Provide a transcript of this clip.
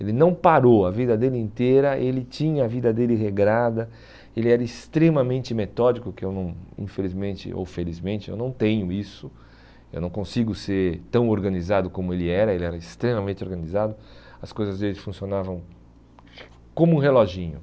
Ele não parou a vida dele inteira, ele tinha a vida dele regrada, ele era extremamente metódico, que eu não infelizmente ou felizmente eu não tenho isso, eu não consigo ser tão organizado como ele era, ele era extremamente organizado, as coisas dele funcionavam como um reloginho.